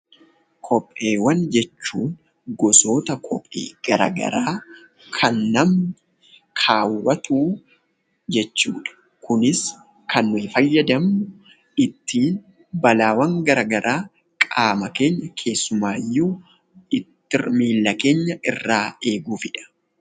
Kopheewwan jechuun gosoota kophee gara garaa kan namni kaawwatuu jechuudha. Kunis kan nuyi fayyadamnu ittiin balaawwan gara garaa qaama keenya keessumaayyuu miilla keenya irraa eeguufidha